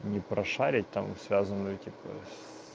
не прошарить там связанные типа